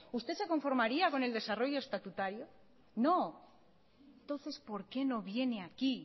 usted se conformaría con el desarrollo estatutario no entonces porque no viene aquí